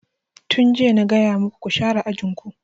Tun jiya na gaya maku ku share ajin ku!